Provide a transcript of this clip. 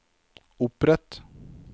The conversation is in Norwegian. opprett